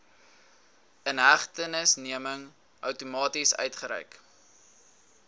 inhegtenisneming outomaties uitgereik